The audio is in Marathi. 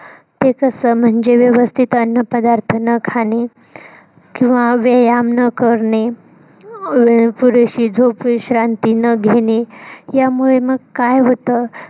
ते कस म्हणजे व्यवस्थित अन्न पदार्थ न खाणे किंव्हा व्यायाम न करणे पुरेशी झोप विश्रांती न घेणे यामुळे मग काय होत.